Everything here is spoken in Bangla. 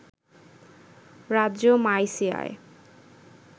রাজ্য মাইসিয়ায়